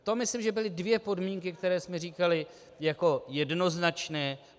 To myslím, že byly dvě podmínky, které jsme říkali jako jednoznačné.